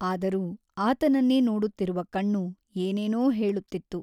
ಆದರೂ ಆತನನ್ನೇ ನೋಡುತ್ತಿರುವ ಕಣ್ಣು ಏನೇನೋ ಹೇಳುತ್ತಿತ್ತು.